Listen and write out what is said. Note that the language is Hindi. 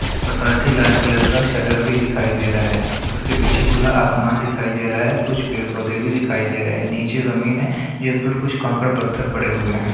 और साथ ही लाल कलर का शटर भी दिखाए दे रहा है उसके पीछे खुला आसमान दिखाई दे रहा है कुछ पेड़ पौधे भी दिखाई दे रहे हैं नीचे ज़मीन है ऊपर कुछ कंकड़ पत्थर पड़े हुए हैं ।